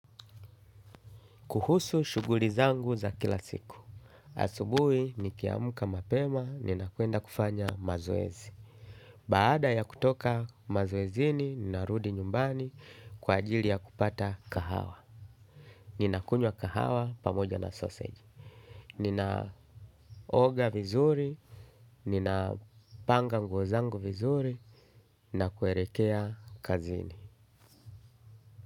Kuhusu shughuli zangu za kila siku. Asubuhi, nikiamka mapema, nina kwenda kufanya mazoezi. Baada ya kutoka mazoezini, ninarudi nyumbani kwa ajili ya kupata kahawa. Nina kunywa kahawa pamoja na sausage. Nina oga vizuri, nina panga nguo zangu vizuri, nina kuelekea kazini.